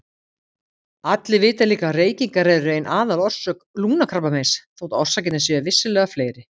Allir vita líka að reykingar eru ein aðalorsök lungnakrabbameins þótt orsakirnar séu vissulega fleiri.